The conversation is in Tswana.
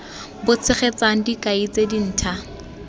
bo tshegetsang dikai tse dintha